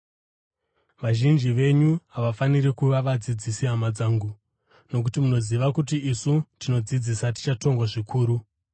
Vazhinji venyu havafaniri kuva vadzidzisi, hama dzangu, nokuti munoziva kuti isu tinodzidzisa tichatongwa zvikuru.